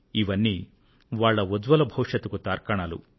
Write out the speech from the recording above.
ఇవన్నీ వాళ్ల ఉజ్జ్వల భవిష్యత్తుకు తార్కాణాలు